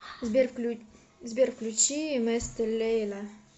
сбер включи место лейла